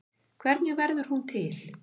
Hvernig verður hún til?